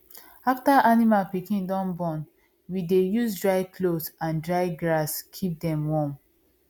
after animal pikin don born we dey use dry cloth and dry grass keep am warm